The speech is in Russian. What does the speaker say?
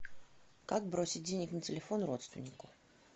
как бросить денег на телефон родственнику